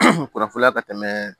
kurafola ka tɛmɛ